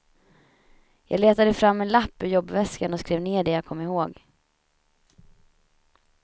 Jag letade fram en lapp ur jobbväskan och skrev ner det jag kom ihåg.